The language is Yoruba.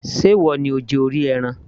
ṣe ìwọ ni ó jẹ orí ẹran